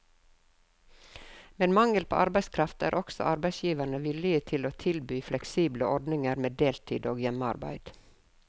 Med mangel på arbeidskraft er også arbeidsgiverne villige til å tilby fleksible ordninger med deltid og hjemmearbeid.